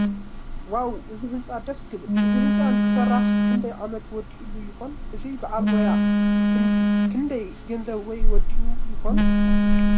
ዋው እዚ ህንፃ ዳስ ክብል። እዚ ህንፃ ንክስራሕ ክንዳይ ዓመት ወዲኡሉ ይኮንሕ እዚ በዓል ዋና? ክንደይ ገንዘብ ከ ወዲኡሉ ይኮን?